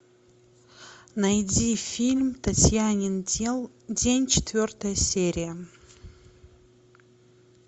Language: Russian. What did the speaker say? найди фильм татьянин день четвертая серия